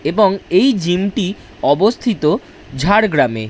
এবং এই জিম টি অবস্থিত ঝাড়গ্রামে।